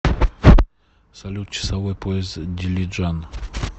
салют часовой пояс дилиджан